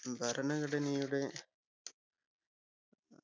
ഭരണഘടനയുടെ